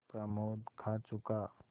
प्रमोद खा चुका